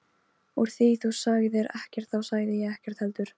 Úr því þú sagðir ekkert þá sagði ég ekkert heldur.